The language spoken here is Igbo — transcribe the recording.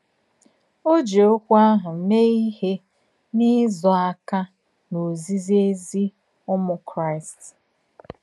Ò jì òkwù àhụ̀ mèè ìhè n’ìzọ̀ àkà n’òzìzì èzì Ùmù Kraíst.